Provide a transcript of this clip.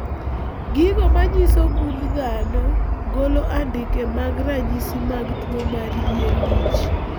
Gigo manyiso gund dhano golo andike mag ranyisi mag tuwo mar yier wich